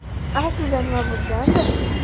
Aslida nima bo‘lgandi?